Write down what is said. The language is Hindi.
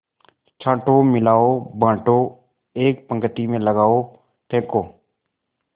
छाँटो मिलाओ बाँटो एक पंक्ति में लगाओ फेंको